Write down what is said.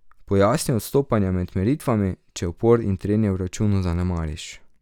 Pojasni odstopanja med meritvami, če upor in trenje v računu zanemariš.